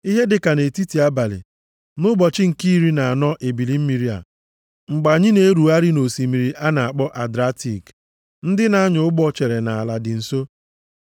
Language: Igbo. Ihe dịka nʼetiti abalị nʼụbọchị nke iri na anọ ebili mmiri a, mgbe anyị na-erugharị nʼosimiri a na-akpọ Adratik, ndị na-anya ụgbọ chere na ala dị nso.